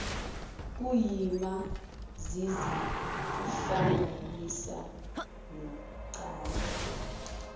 kuyima zizihlanganisa nocansi